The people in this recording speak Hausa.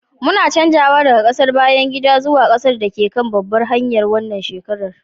muna canjawa daga ƙasar bayan gidan zuwa ƙasar da ke kan babbar hanyar wannan shekara